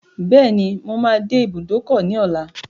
Bẹ́ẹ̀ni, mo máa dé ibùdókọ̀ ní ọlá.